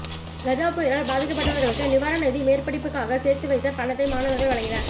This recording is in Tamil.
கஜா புயலால் பாதிக்கப்பட்டவர்களுக்கு நிவாரண நிதி மேற்படிப்புகாக சேர்த்து வைத்த பணத்தை மாணவர்கள் வழங்கினர்